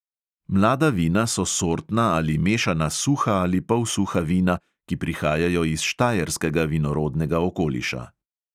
Mlada vina so sortna ali mešana suha ali polsuha vina, ki prihajajo iz štajerskega vinorodnega okoliša.